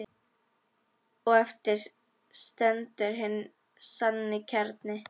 Og eftir stendur hinn sanni kjarni.